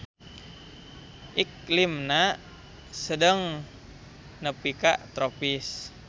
Iklimna sedeng nepi ka tropis.